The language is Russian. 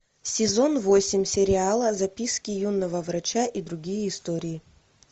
сезон восемь сериала записки юного врача и другие истории